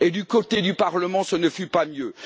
Et du côté du Parlement, ce ne fut pas mieux.